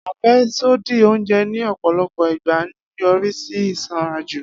Afẹsodi onjẹ ni ọpọlọpọ igba nyorisi isanraju.